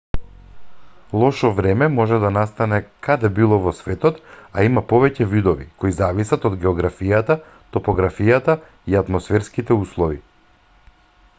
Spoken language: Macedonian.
лошо време може да настане каде било во светот а има повеќе видови кои зависат од географијата топографијата и атмосферските услови